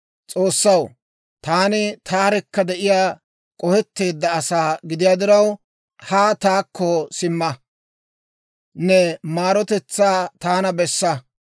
S'oossaw, taani taarekka de'iyaa k'ohetteedda asaa gidiyaa diraw, haa taakko simma; ne maarotetsaa taana bessa.